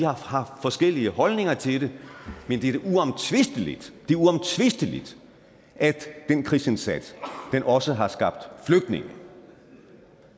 har forskellige holdninger til det men det er da uomtvisteligt at den krigsindsats også har skabt flygtninge